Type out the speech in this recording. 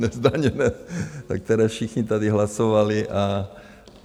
Nezdaněné, pro které všichni tady hlasovali.